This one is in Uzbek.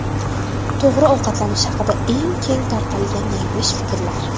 To‘g‘ri ovqatlanish haqida eng keng tarqalgan yanglish fikrlar.